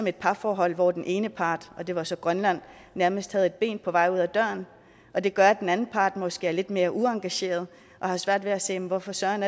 et parforhold hvor den ene part og det var så grønland nærmest havde et ben på vej ud af døren og det gør at den anden part måske er lidt mere uengageret og har svært ved at se hvorfor søren